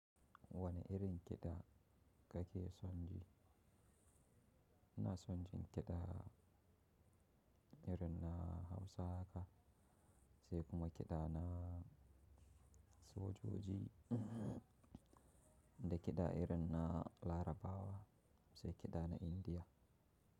Wane irin kiɗa kake son ji? Ina son jin kiɗa irin na Hausa haka. Sai kuma kiɗa na sojoji, da kiɗa irin na Larabawa. Sai kiɗa na Indiya.